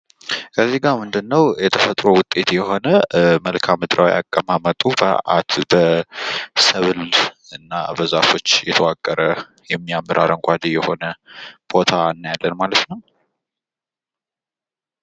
የተፈጥሮ ውጤት የሆነ መልክአ ምድራዊ አቀማመጡ በሰብልና በዛፎች የተከበበ ፣የተዋቀረ የሚያምር አረንጓዴ ቦታ እናያለን።